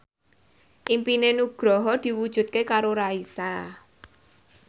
impine Nugroho diwujudke karo Raisa